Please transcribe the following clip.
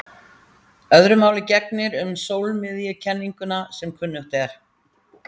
Öðru máli gegnir um sólmiðjukenninguna sem kunnugt er.